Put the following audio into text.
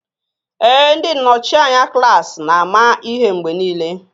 Ee, ndị nnọchi anya klaasị na-ama ihe mgbe niile